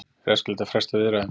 Er æskilegt að fresta viðræðum?